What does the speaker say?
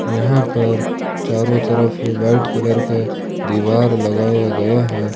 यहां पर चारों तरफ व्हाइट कलर का दीवार लगाया गया है।